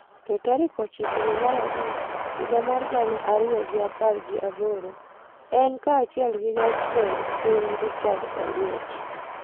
to tarik ochiko dwe mar abich higa mar gana ariyo gi apar gi aboro, en kaachiel gi Jatend Jatend Piny, Richard Oliech,